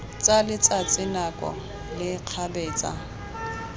tsa letsatsi nako le kgabetsa